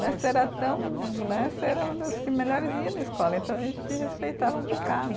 Né, você era tão, né, você era uma das que melhores ia na escola, então a gente te respeitava um bocado.